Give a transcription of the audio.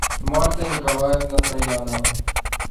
марта николаевна троянова